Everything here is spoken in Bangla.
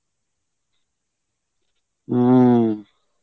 হম.